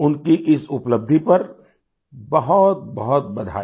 उनकी इस उपलब्धि पर बहुतबहुत बधाई